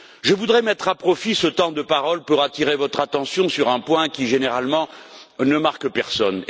Je voudrais mettre à profit ce temps de parole pour attirer votre attention sur un point qui, généralement, ne marque personne.